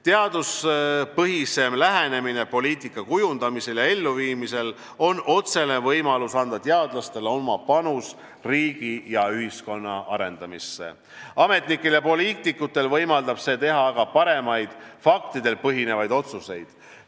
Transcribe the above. Teaduspõhisem lähenemine poliitika kujundamisel ja elluviimisel on otsene võimalus, et teadlased saavad anda oma panuse riigi ja ühiskonna arendamisse, ametnikel ja poliitikutel võimaldab see teha aga paremaid, faktidel põhinevaid otsuseid.